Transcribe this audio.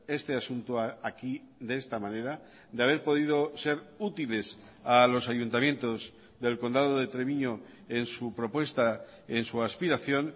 este asunto aquí de esta manera de haber podido ser útiles a los ayuntamientos del condado de treviño en su propuesta en su aspiración